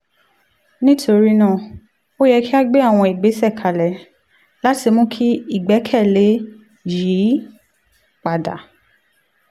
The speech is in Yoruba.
nítorí náà ó yẹ kí a gbé àwọn ìgbésẹ̀ kalẹ̀ láti mú kí ìgbẹ́kẹ̀lé yìí padà